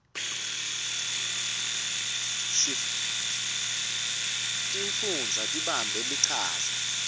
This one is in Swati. tifundza babambe lichaza